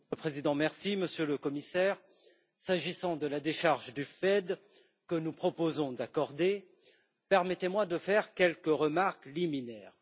Monsieur le Président, Monsieur le Commissaire, s'agissant de la décharge du FED que nous proposons d'accorder, permettez moi de faire quelques remarques liminaires.